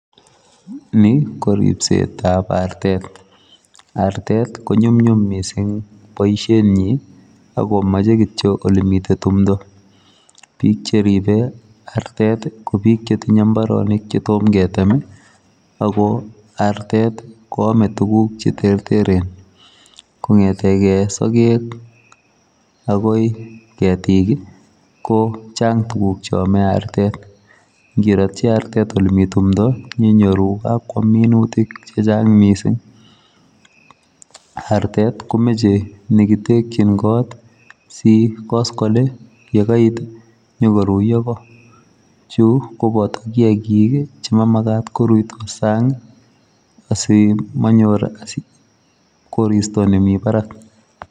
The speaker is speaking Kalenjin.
Ni ii ko ripset ab artet ,artet ii ko nyumnyum missing boisiet nyiin ago machei kityoi ole miten tumdaa, biik che ripee artet ii ko biik che tinyei mbaronik che toom keteme ii ago artet koame tuguuk che terteren kongethegei sageg ii agoi ketiik ii ko chaang tuguuk cheame artet ngetatyi artet ole Mii tumdo inyoruu kakwaam minutiik che chaang missing artet komachei nekitekyiin koot si en koskoling ye kait ii inyokoruyaa Koo chuu ko bataa kiagik che mamagat koruyaa saang ii asi manyoor koristoi nemii baraak.